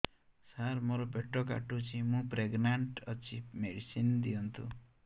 ସାର ମୋର ପେଟ କାଟୁଚି ମୁ ପ୍ରେଗନାଂଟ ଅଛି ମେଡିସିନ ଦିଅନ୍ତୁ